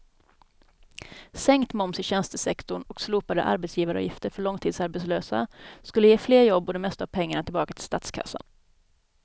Sänkt moms i tjänstesektorn och slopade arbetsgivaravgifter för långtidsarbetslösa skulle ge fler jobb och det mesta av pengarna tillbaka till statskassan.